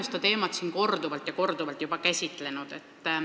Oleme seda teemat siin juba korduvalt ja korduvalt käsitlenud.